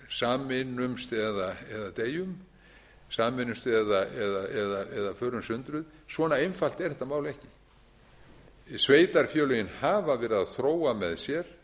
sameinumst eða förum sundruð svona einfalt er þetta mál ekki sveitarfélögin hafa verið að þróa með sér